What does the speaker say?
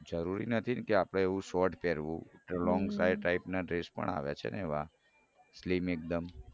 જરૂરી નથી કે આપડે એવું short પહેરવું લોન્ગ type ના dress પણ આવે છે ને slim એકદમ